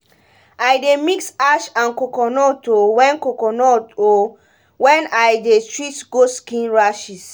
i dey mix ash and coconut o wen coconut o wen i dey treat goat skin rashes